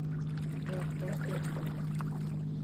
джой кто сбером рулит